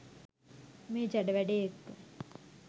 මේ ජඩ වැඩේ එක්ක.